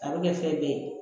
A bɛ kɛ fɛn bɛɛ ye